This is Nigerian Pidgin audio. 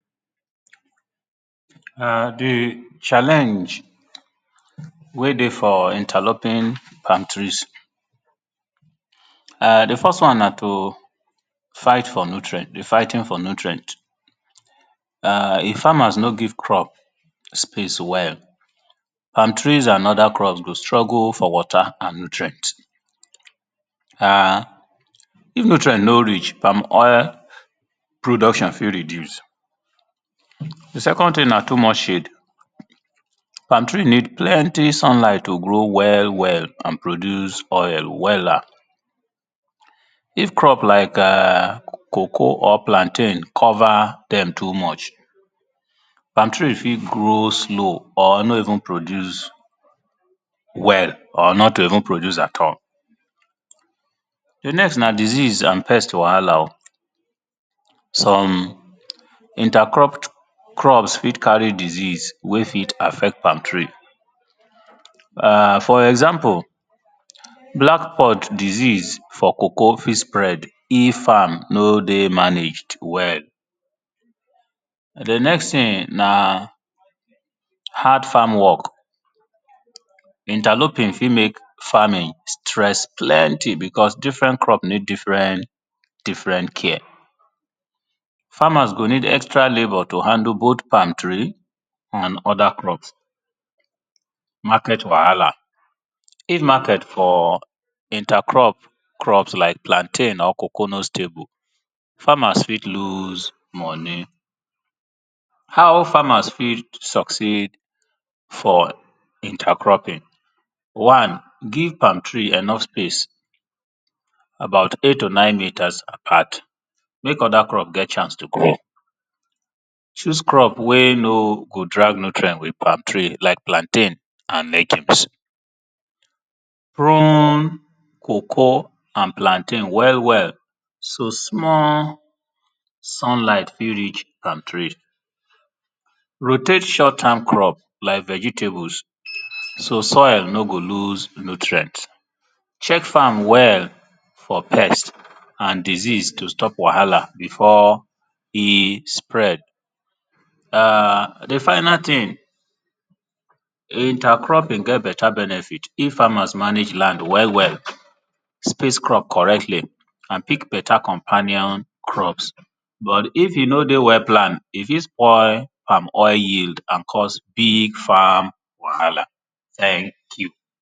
[urn] di challenge wey dey for interloping palm trees [urn] di first one na to fight for nutrient, di fighting for nutrient [urn] if farmers no give space well for crop di palm tree and other crops go struggle for water and nutrient, [urn] if nutrient no reach, palm oil production fit reduce. Di second thing na too much shade, palm tree need plenty sunlight to grow well well and produce oil wella id crop [urn] Cocoa or plantain cover dem too much palm tree fit grow slow, or no even produce well, or not to even produce at all. Di next na disease and crop wahala oh, some inter cropped crops fit carry disease wey fit affect palm tree [urn] For example, black pod disease for cocoa fit spread if farm no dey managed well. Di next thing na hard farm work. Interloping fit make crop stress plenty because different crop need different care farmers go need extra labor to handle both palm tree and oda crops, market wahala if market for inter crops like plantain or cocoa nor stable, farmers fit lose money. How farmers fit succeed for inter cropping, one give palm tree enough space about eight to nine meters apart make oda crop get chance to grow, chose crop wey no go drag nutrient with palm tree like plantain and lettuce. Prone cocoa and plantain well well so small sunlight fit reach palm tree, rotate short time crops like vegetables so soil no go lose nutrient, check farm well for pest and disease to stop wahala before e spread [urn] di final thing, intercropping get better benefit, if farmers manage lan d well well, sp ace crop correctly and pick better companion crops, but if e no dey well palm e fit spoil palm oil and cause big farm wahala thank you.